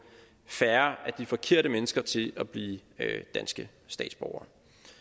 færre af de forkerte mennesker til at blive danske statsborgere